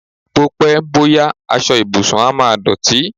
Bó pẹ́, bó yá, aṣọ ìbùsùn á máa dọ̀tí.